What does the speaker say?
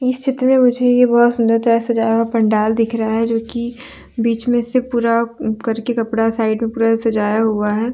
इस चित्र में मुझे ये बहुत सुंदर तरह से सजाया हुआ पंडाल दिख रहा है जोकी बीच मे से पूरा करके कपड़ा साइड मे पुरा सजाया हुआ है।